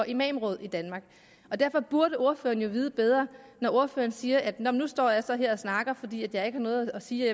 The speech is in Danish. imamråd i danmark derfor burde ordføreren jo vide bedre når ordføreren siger at nu står jeg så her og snakker fordi jeg ikke har noget at sige